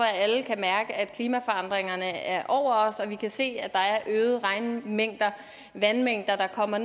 at alle kan mærke at klimaforandringerne er over os og vi kan se at der er øgede regnmængder vandmængder der kommer